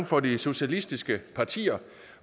for de socialistiske partier